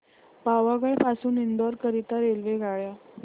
पावागढ पासून इंदोर करीता रेल्वेगाड्या